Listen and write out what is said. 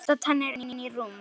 Bursta tennur, inn í rúm.